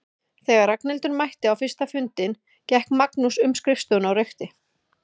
Þegar Ragnhildur mætti á fyrsta fundinn gekk Magnús um skrifstofuna og reykti.